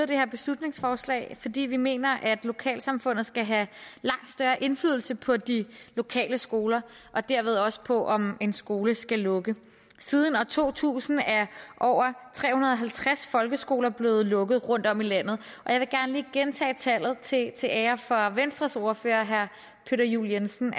det her beslutningsforslag fordi vi mener at lokalsamfundet skal have langt større indflydelse på de lokale skoler og derved også på om en skole skal lukke siden år to tusind er over tre hundrede og halvtreds folkeskoler blevet lukket rundtom i landet og jeg vil gerne lige gentage tallet til til ære for venstres ordfører herre peter juel jensen